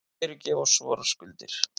Fyrirgef oss vorar skuldir,